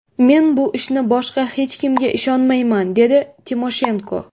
Men bu ishni boshqa hech kimga ishonmayman”, dedi Timoshenko.